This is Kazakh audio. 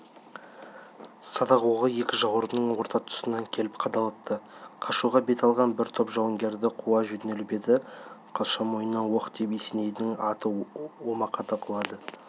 садақ оғы екі жауырынның орта тұсынан келіп қадалыпты қашуға бет алған бір топ жауынгерді қуа жөнеліп еді қылша мойнынан оқ тиіп есенейдің аты омақата құлады